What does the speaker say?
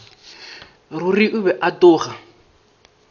ruri o be a tloga